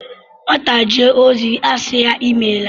Nwata jee ozi a sị ya "Imeela"